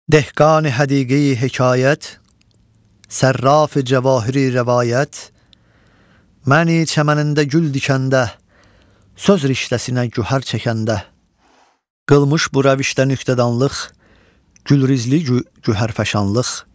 Dehqani həqiqi hekayət, Sərrafı cəvahiri rəvayət, Məni çəmənində gül dikəndə, Söz riştəsinə güher çəkəndə, qılmış bu rəvişdə nüktədanlıq, gülrizli güherfəşanlıq.